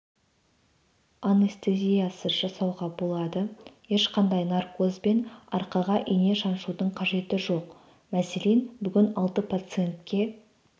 анестезиясыз жасауға болады ешқандай наркоз бен арқаға ине шаншудың қажеті жоқ мәселен бүгін алты пациентке